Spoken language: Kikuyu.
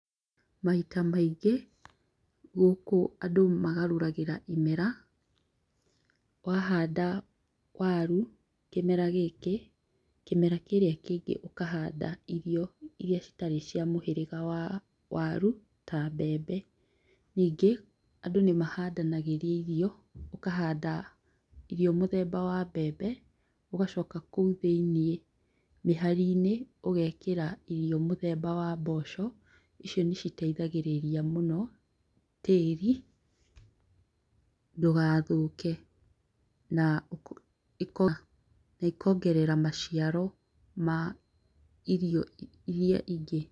Maita maingĩ gũkũ andũ magarũragĩra imera, wahanda waru kĩmera gĩkĩ, kĩmera kĩrĩa kĩngĩ ũkahanda irio iria citarĩ cia mũhĩrĩga wa waru ta mbembe. Nyingĩ, andũ nĩmahandanagĩria irio , ũkahanda irio mũthemba wa mbembe ũgacoka kũu thĩiniĩ mĩhari-inĩ ũgekera irio mũthemba wa mboco. Icio nĩciteithagĩrĩria mũno tĩĩri ndũgathũke na ĩkongerera maciaro ma irio iria ingĩ.